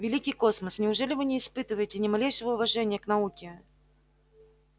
великий космос неужели вы не испытываете ни малейшего уважения к науке